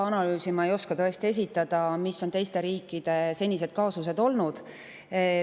Analüüsi selle kohta, millised on olnud teiste riikide senised kaasused, ma tõesti ei oska esitada.